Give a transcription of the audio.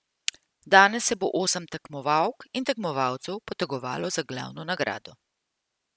Danes se bo osem tekmovalk in tekmovalcev potegovalo za glavno nagrado.